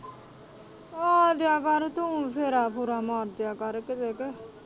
ਆ ਜਾਇਆ ਕਰ ਤੂੰ ਫੇਰਾ-ਫੂਰਾ ਮਾਰ ਜਾਇਆ ਕਿਤੇ ਕ।